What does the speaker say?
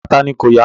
Ara tani kò yá?